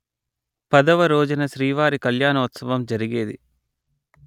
పదవ రోజున శ్రీవారి కళ్యాణోత్సవం జరిగేది